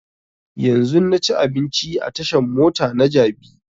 Yanzun na ci abinci a tashan mota na jabi